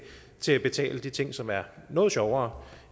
til at betale de ting som er noget sjovere